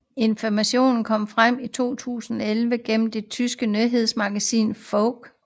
Informationer kom frem i 2011 gennem det tyske nyhedsmagasin Focus